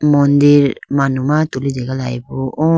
mandir manuma tulitegalayi bo o.